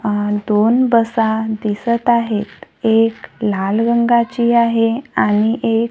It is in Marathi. अ दोन बसा दिसत आहेत एक लाल रंगाची आहे आणि एक--